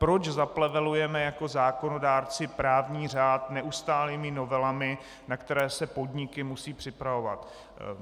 Proč zaplevelujeme jako zákonodárci právní řád neustálými novelami, na které se podniky musí připravovat?